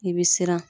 I bɛ siran